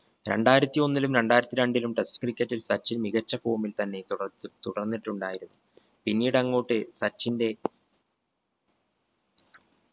രണ്ടായിരത്തി ഒന്നിലും രണ്ടായിരത്തി രണ്ടിലും test cricket ൽ സച്ചിൻ മികച്ച form ൽ തന്നെ തുടർച് തുടർന്നിട്ടുണ്ടായിരുന്നു പിന്നീടങ്ങോട്ട് സച്ചിന്റെ